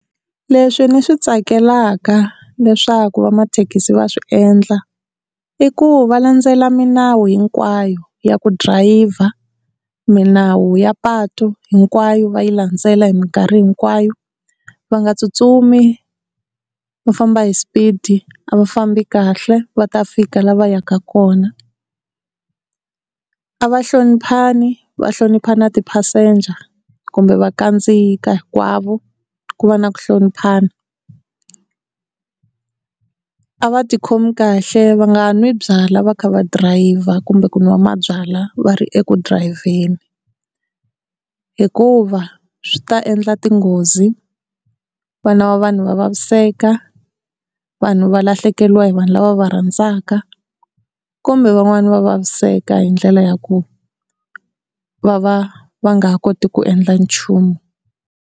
Leswi ni swi tsakelaka leswaku va mathekisi va swi endla i ku va landzela milawu hinkwayo ya ku drayiva, milawu ya patu hinkwayo va yi landzela hi minkarhi hinkwayo, va nga tsutsumi va famba hi speed a va fambi kahle va ta fika la va yaka kona, a va hloniphani, va hlonipha na ti-passenger kumbe va kandziyisa hinkwavo ku va na ku hloniphana, a va tikhomi kahle va nga n'wi byalwa va kha va drayiva kumbe ku nwa mabyalwa va ri eku drayiveni hikuva swi ta endla tinghozi vana va vanhu va vaviseka vanhu va lahlekeriwa hi vanhu lava va va rhandzaka kumbe van'wani va vaviseka hi ndlela ya ku va va va nga ha koti ku endla nchumu.